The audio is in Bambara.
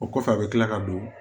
O kɔfɛ a bɛ kila ka don